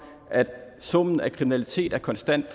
at summen af kriminalitet er konstant